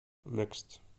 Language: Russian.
некст